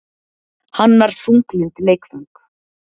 Hannar þunglynd leikföng